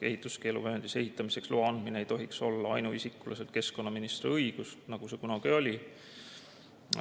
Ehituskeeluvööndis ehitamiseks loa andmine ei tohiks olla ainuisikuliselt keskkonnaministri õigus, nagu see kunagi oli.